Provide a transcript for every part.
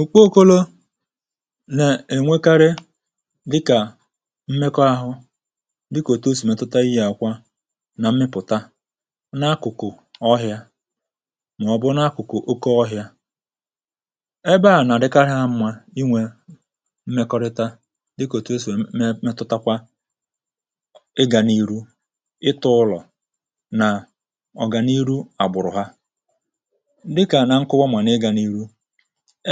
ùkpo okolo nà-ènwekarị dịkà mmekọ ahụ dịkò òtù o sì metụta ihe àkwa nà mmịpụ̀ta n’akụ̀kụ̀ ọhịa màọ̀bụ̀ n’akụ̀kụ̀ oke ọhịa ebe à nà-àdịkarị àmụ̀ma inwè mmekọrịta dịkà òtù o sì me metụtakwa ịgà n’iru ịtọ̇ ụlọ̀ nà ọ̀gàniru àgbụ̀rụ̀ ha dịkà na nkowa ma na i ga n'ihu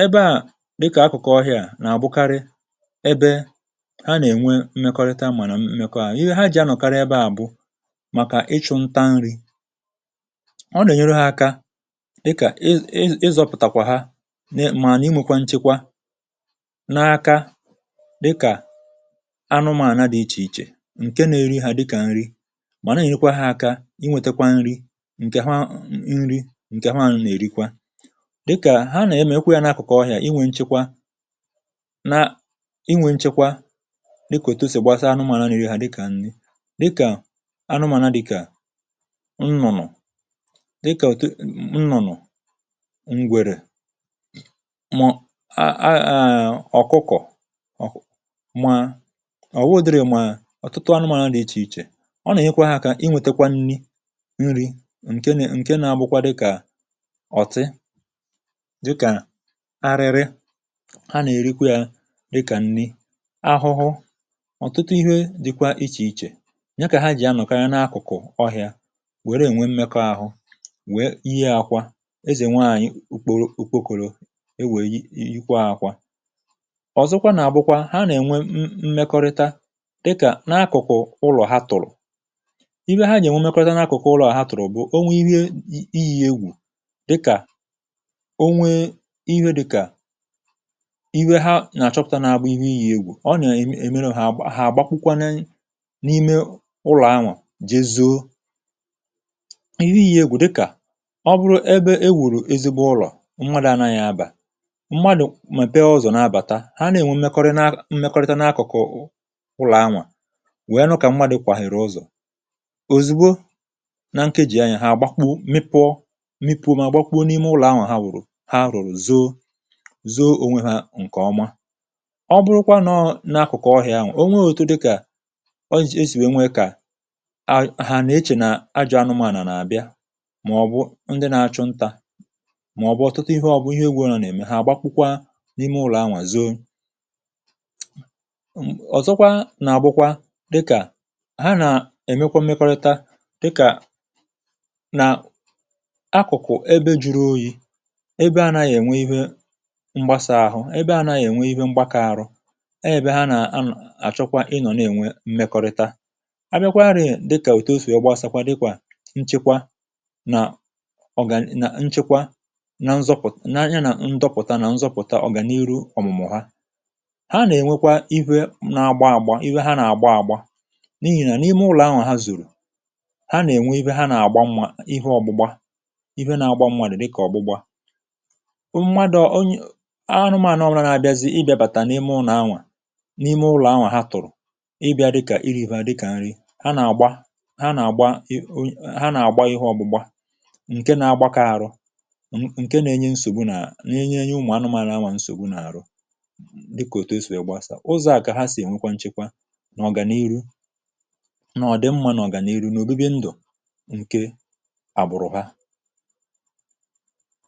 ebe a di ka akụ̀kọ̀ ọhịà nà àbụkarị ebe ha nà-ènwe mmekọrịta mà nà mmekọ àhu, ihe ha jì anọ̀karị ebe à bụ màkà ịchụ̇ ntȧ nri um ọ nà-ènyere ha aka dịkà, ị ịzọ̇pụ̀tàkwà ha mee mà nà ịnwėkwa nchekwa n’aka dịkà anụmà ànu dị ichè ichè ǹke na-eri hȧ dịkà nri mà na-ènyirikwa ha aka inwėtekwa nri̇ ǹkè ha nri ǹkè ha nà-èrikwa ha nà-emèekwa yȧ n’akụ̀kụ̀ ọhịà inwė nchekwa na inwė nchekwa dịkà òtù esì gbasaa anụmànu na eri ha dị̀ ha dịkà nri dịkà anụmànà dị̀ kà nnụnụ dịkà òtù nnụnụ ngwèrè mà aaa ọ̀kụkọ̀ ma ọ̀ wụdịrị mà ọ̀tụtụ anụmànà dị̀ ichè ichè ọ nà nyekwara ha akà inwėtekwa nni nri ǹke na-abụkwa dịkà ọ̀tị dika ariri ha nà-èrekwa yȧ dịkà nni ahụhụ ọ̀tụtụ ihe dịkwa ichè ichè nya kà ha jì anọ̀kari n’akụ̀kụ̀ ọhị̇ȧ wère ènwe mmekọ ahụ wère yie akwȧ ezè nwaànyị̀ ukpokòrò ewè yikwa ȧkwȧ ọ̀zọkwa nà àbụkwa ha nà-ènwe mmekọrịta dịkà n’akụ̀kụ̀ ụlọ̀ ha tụ̀rụ̀ ihe ha jì ènwe mekọrịta n’akụ̀kụ̀ ụlọ̀ ha tụ̀rụ̀ bụ̀ o nwe ihe iyi egwù dika o nwe ihe dika ihe ha nà-àchọpụ̀ta na bu ihe iyì egwù ọnyà èmeru hà àgbakwụkwana n’ime ụlọ̀ anwụ̇ jeezo um ihe iyì egwù dịkà ọ bụrụ ebe e wùrù ezigbo ụlọ̀ mmadụ̀ ananyị̀ abà mmadụ̀ mepee ọzọ nà-abàta ha nà-ènwe mmekọrịta n’akụ̀kụ̀ ụlọ̀ anwụ̇ wèe nụkà mmadụ̀ kwàhèrè ụzọ̀ òzìgbo na nkejì anyị̀ ha àgbakwụ mịpụ̇ mịpụ̇ mà gbakwụwo n’ime ụlọ̀ anwụ̀ ha wuru ha wùrụ̀ zoo ònwe hȧ ǹkèọma ọ bụrụkwa nọọ n’akụ̀kụ̀ ọhịȧ ahụ̀ onwe òtu dịkà ọji̇ esì nwèe nwe kà ahà hà na-echè nà ajọ̀ anụmȧnà nà àbịa màọbụ̀ ndị na-achụ ntȧ màọbụ̀ ọ̀tụtụ ihe ọ̀bụ̀ ihe egwùhȧ nà-ème ha gbakwukwa n’ime ụlọ̀anwà zoo um ọ̀zọkwa nà àbụkwa dịkà ha nà èmekwa mmekọrịta dịkà nà akụ̀kụ̀ ebe juru oyi̇ ebe a nà-ènwe ihe mgbasa àhụ ebe a nà-ènwe ihe mgbakọ àrụ ọ ebe ha nà-àchọkwa ịnọ̀ na-ènwe mmekọrịta abịakwarị̀ dịkà ètu ọsibaasakwa dịkwà nchekwa nà ọ gà na nchekwa na nzọpụ̀ na anya nà ndọpụ̀ta na nzọpụ̀ta ọ gà n’iru ọ̀mụ̀mụ̀ ha ha nà-ènwekwa iwe na-agba àgba iwe ha nà-àgba àgba n’ihi nà n’ime ụlọ̀ ahụ̀ ha zórù ha nà-ènwe ihe ha nà-àgba mma ihe ọ̀gbụ̀gba ihe nà-agba mmadu dịkà ọ̀gbụ̀gba mmadu oye anụmaànụrȧ na-abịazị ịbị̇abàtà n’ime ụlọ̀ anwà n’ime ụlọ̀ anwà ha tụ̀rụ̀ ịbị̇a dịkà iri̇hu̇ à dịkà nri ha nà-àgba, ha nà-àgba, um ha nà-àgba ihė ọgbụgba ǹke na-agbakọ̇ arọ n’ǹke na-enye nsògbu nà na-enye enye ụmụ̀ anụmaànụ̀ anwà nsògbu nà-àrọ dịkà òtu esò ya gbasà ụzọ̇ à kà ha sì ènwekwa nchekwa n’ọ̀gà n’iru nà ọ̀ dị mmȧ nà ọ̀gà n’iru n’òbi̇bi̇ ndù ǹke àbụ̀rụ̀ ha